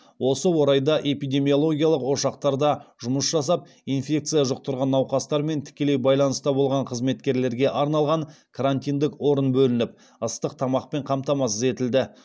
осы орайда эпидемиологиялық ошақтарда жұмыс жасап инфекция жұқтырған науқастармен тікелей байланыста болған қызметкерлерге арналған карантиндік орын бөлініп ыстық тамақпен қамтамасыз етілді